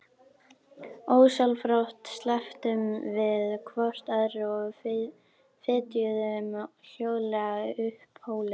Ósjálfrátt slepptum við hvort öðru og fetuðum hljóðlega upp hólinn.